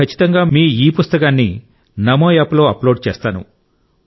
నేను ఖచ్చితంగా మీ ఈ పుస్తకాన్ని నమోయాప్లో అప్లోడ్ చేస్తాను